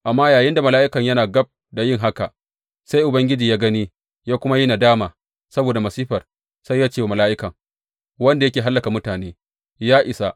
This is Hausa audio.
Amma yayinda mala’ikan yana gab da yin haka, sai Ubangiji ya gani ya kuma yi nadama saboda masifar, sai ya ce wa mala’ikan wanda yake hallaka mutane, Ya isa!